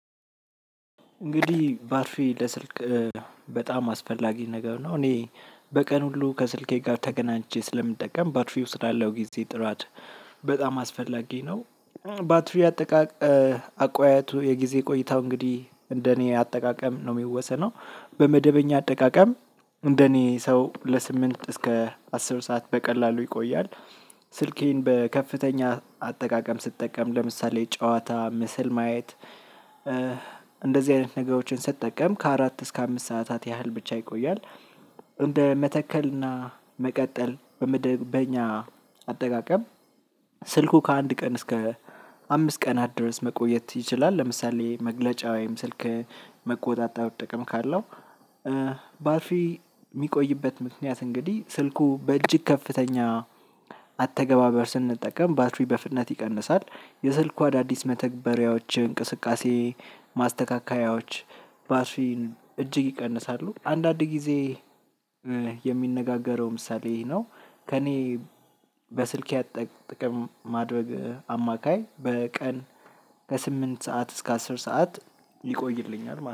እንግዲህ ባትሪ ለስልክ በጣም አስፈላጊ ነገር ነው እኔ በቀን ሁሉ ከስልኬ ጋር ተገናኝቼ ስለምጠቀም ባትሪው ስላለው ጊዜ ጥራት በጣም አስፈላጊ ነው። ባትሪ አጠቃቀም አቋያቱ የጊዜ ቆይታው እንግዲህ እንደኔ አጠቃቀም ነው የሚወሰነው በመደበኛ አጠቃቀም እንደኔ ሰው ለስምንት እስከ አስር ሰዓት በቀላሉ ይቆያል። ስልኬን በከፍተኛ አጠቃቀም ስትጠቀም ለምሳሌ ጨዋታ ምስል ማየት። እንደዚህ አይነት ነገሮችን ስትጠቀም ከአራት እስከ አምስት ሰዓታት ያህል ብቻ ይቆያል። እንደ መተከልና መቀጠል በኛ አጠቃቀም ስልኩ ከአንድ ቀን እስከ አምስት ቀን አድረስ መቆየት ይችላል። ለምሳሌ መግለጫ ወይም ስልክ መቆጣጠር ጥቅም ካለው። የሚቆይበት ምክንያት እንግዲህ ስልኩ በእጅግ ከፍተኛ አተገባበር ስንጠቀም ባትሪ በፍጥነት ይቀንሳል። የስልኩ አዳዲስ መተግበሪያዎች እንቅስቃሴ ማስተካከያዎች ባትሪን እጅግ ይቀንሳሉ። አንዳንድ ጊዜ የሚነጋገረው ምሳሌ ይሄ ነው። ከእኔ በስልኬ ጥቅም ማድረግ አማካይ በቀን ከስምንት ሰዓት እስከ አስር ሰዓት ሊቆይልኛል ማለት ነው